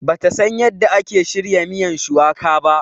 Bata San yanda ake shirya miyan shuwaka ba.